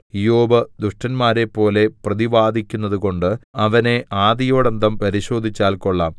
ഇയ്യോബ് ദുഷ്ടന്മാരെപ്പോലെ പ്രതിവാദിക്കുന്നതുകൊണ്ട് അവനെ ആദിയോടന്തം പരിശോധിച്ചാൽ കൊള്ളാം